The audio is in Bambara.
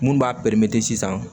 Mun b'a pɛrimete sisan